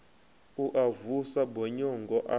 u a vusa bonyongo a